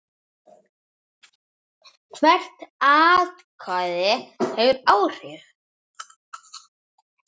Hvert atkvæði hefur áhrif.